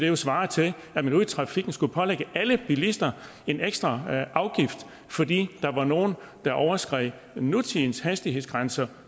jo svare til at man ude i trafikken skulle pålægge alle bilister en ekstra afgift fordi der var nogle der overskred nutidens hastighedsgrænser